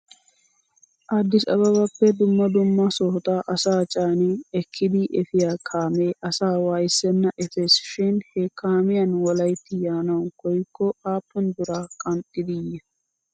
Addis ababappe duumma dumma sohota asaa caani ekkidi efiyaa kaamee asaa waayissenna efes shin he kaamiyan wolayitta yaanaw koyikko aappun biraa qanxxidi yiyoo?